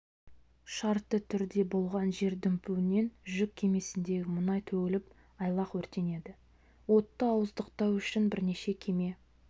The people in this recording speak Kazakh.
шартты түрде болған жер дүмпуінен жүк кемесіндегі мұнай төгіліп айлақ өртенеді отты ауыздықтау үшін бірнеше кеме